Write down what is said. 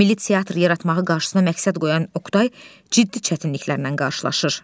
Milli teatr yaratmağı qarşısına məqsəd qoyan Oqtay ciddi çətinliklərlə qarşılaşır.